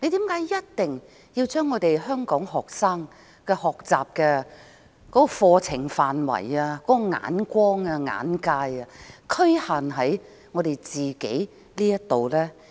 為何一定要將香港學生的課程範圍、眼光、眼界局限於香港？